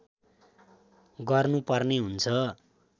गर्नु पर्ने हुन्छ